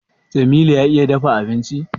Jamilu ya iya dafa abinci?